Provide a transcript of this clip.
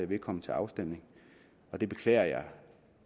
vil komme til afstemning og det beklager jeg